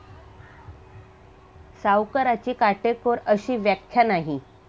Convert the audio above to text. सावकाराची काटेकोर अशी व्याख्या नाही.